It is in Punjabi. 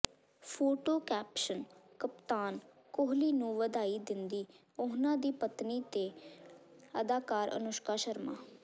ਫੋਟੋ ਕੈਪਸ਼ਨ ਕਪਤਾਨ ਕੋਹਲੀ ਨੂੰ ਵਧਾਈ ਦਿੰਦੀ ਉਨ੍ਹਾਂ ਦੀ ਪਤਨੀ ਤੇ ਅਦਾਕਾਰਾ ਅਨੁਸ਼ਕਾ ਸ਼ਰਮਾ